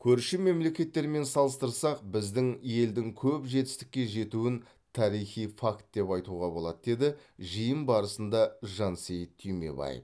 көрші мемлекеттермен салыстырсақ біздің елдің көп жетістікке жетуін тарихи факт деп айтуға болады деді жиын барысында жансейіт түймебаев